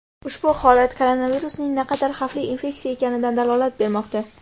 Ushbu holat koronavirusning naqadar xavfli infeksiya ekanidan dalolat bermoqda.